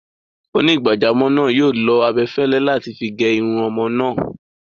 Onígbàjámọ̀ náà yóò lo abẹfẹ́lẹ́ láti figé irun ọmọ náà.